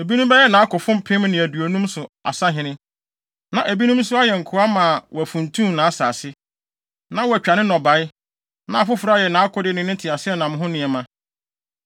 Ebinom bɛyɛ nʼakofo mpem ne aduonum so asahene, na ebinom nso ayɛ nkoa ma wɔafuntum nʼasase, na wɔatwa ne nnɔbae, na afoforo ayɛ nʼakode ne ne teaseɛnam ho nneɛma.